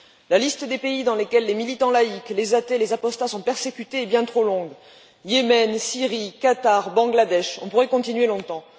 La liste des pays dans lesquels les militants laïques, les athées, les apostats sont persécutés est bien trop longue Yémen, Syrie, Qatar, Bangladesh, et on pourrait continuer longtemps.